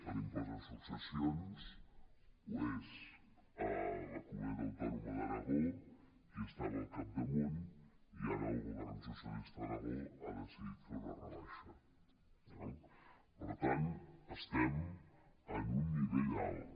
l’impost de successions ho és a la comunitat autònoma d’aragó qui estava al capdamunt i ara el govern socialista d’aragó ha decidit fer una rebaixa eh per tant estem en un nivell alt